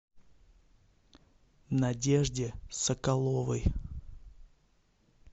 надежде соколовой